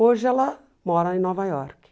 Hoje ela mora em Nova York.